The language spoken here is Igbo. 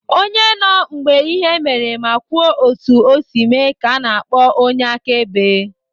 Onye nọ mgbe ihe mere ma kwuo otu o si mee ka ana akpọ onye akaebe.